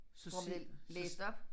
Så får vi det læst op